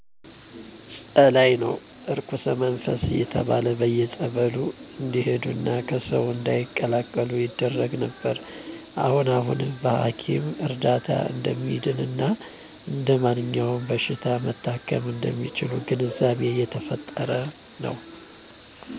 ጸላኢ ነው እርኩስመንፈስ እየተባለ በየፀበሉ እንዲሄዱና ከሰው እንዳይቀላቀሉ ይደረግ ነበር አሁን አሁን በሀኪም እርዳታ እደሚድን እና እደማንኛውም በሺታ መታከም እደሚችል ግንዛቤ እየተፈጠረ ነው